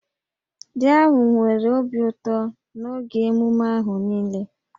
Di ahụ nwere obi ụtọ n'oge emume ahụ niile